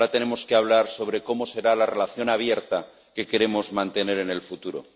Ahora tenemos que hablar sobre cómo será la relación abierta que queremos mantener en el futuro.